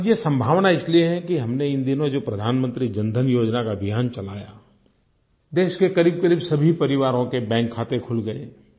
और ये संभावना इसलिए है कि हमने इन दिनों जो प्रधानमंत्री जन धन योजना का अभियान चलाया देश के क़रीबक़रीब सभी परिवारों के बैंक खाते खुल गए